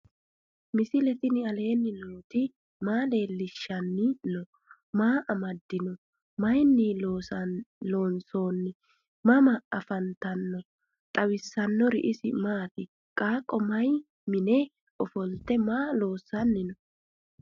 misile tini alenni nooti maa leelishanni noo? maa amadinno? Maayinni loonisoonni? mama affanttanno? xawisanori isi maati? qaaqo mayi mine offolitte maa loosanni noo?